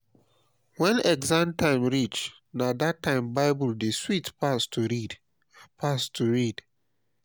when exam time reach na that time bible dey sweet pass to read. pass to read.